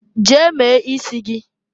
Jee mee isi gị!